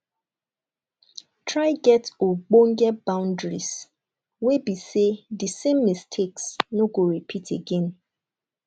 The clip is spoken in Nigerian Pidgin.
try get ogbonge bountries wey be sey di same mistakes no go repeat again